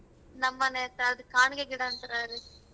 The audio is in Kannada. ನಮ್ಮನೆ ಕಾಣಗೆ ಗಿಡ ಅಂತಾರೀ.